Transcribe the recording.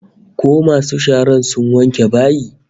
Ko masu shara sun wanke bayin?